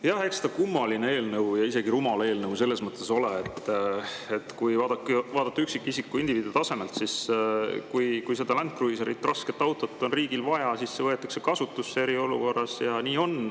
Jah, eks ta kummaline ja isegi rumal eelnõu selles mõttes ole, et kui vaadata üksikisiku, indiviidi tasandilt, siis kui seda Land Cruiserit, rasket autot on riigil vaja, siis see võetakse eriolukorras kasutusele, ja nii on.